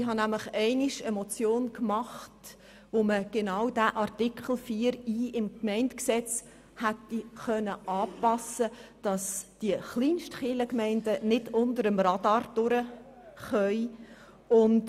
Ich habe einmal einen Vorstoss eingereicht, um Artikel 4i des Gemeindegesetzes dahingehend anzupassen, dass die Kleinstkirchgemeinden nicht unter dem Radar hindurchschlüpfen können.